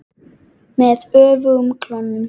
Með öfugum klónum.